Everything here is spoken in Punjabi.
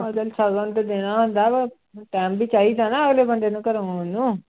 ਉਹ ਚੱਲ ਸ਼ਗਨ ਤੇ ਦੇਣਾ ਹੁੰਦਾ ਪਰ time ਵੀ ਚਾਹੀਦਾ ਨਾ ਅਗਲੇ ਬੰਦੇ ਨੂੰ ਘਰੋਂ ਆਉਣ ਨੂੰ।